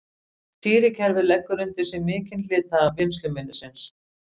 stýrikerfið leggur undir sig mikinn hluta vinnsluminnisins